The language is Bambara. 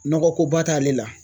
Nɔgɔko ba t'ale la.